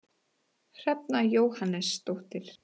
Hrefna Jóhannesdóttir